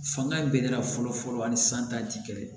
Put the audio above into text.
Fanga bɛ ne la fɔlɔ fɔlɔ ani san ta ti kelen ye